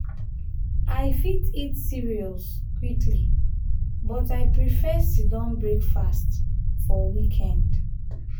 i fit eat cereals quickly but i prefer sit-down breakfast for weekend.